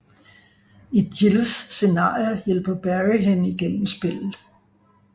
I Jills scenarie hjælper Barry hende igennem spillet